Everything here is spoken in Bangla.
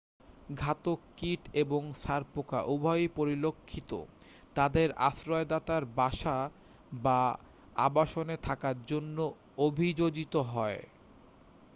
ঘাতক-কীট এবং ছারপোকা উভয়ই পরিলক্ষিত তাদের আশ্রয়দাতার বাসা বা আবাসনে থাকার জন্য অভিযোজিত হয়